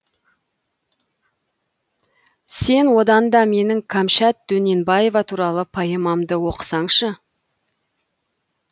сен одан да менің кәмшат дөненбаева туралы поэмамды оқысаңшы